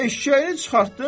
Eşşəyini çıxartdın.